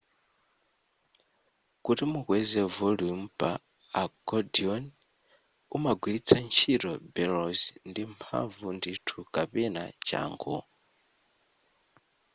kuti mukweze volume pa accordion umagwiritsa ntchito bellows ndi mphamvu ndithu kapena changu